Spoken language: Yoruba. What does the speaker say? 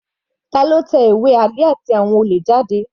Tani ó tẹ ìwé Ali àti àwọn olè jáde?